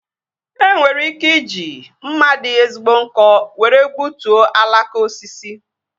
E nwere ike iji mma dị ezigbo nkọ were gbutuo alaka osisi